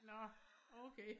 Nå okay